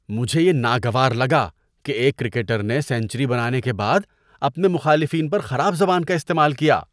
مجھے یہ ناگوار لگا کہ ایک کرکٹر نے سنچری بنانے کے بعد اپنے مخالفین پر خراب زبان کا استعمال کیا۔